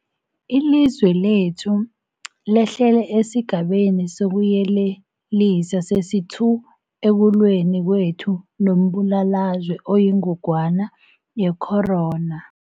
Ilizwe lekhethu lehlele esiGabeni sokuYelelisa sesi-2 ekulweni kwethu nombulalazwe oyingogwana ye-corona.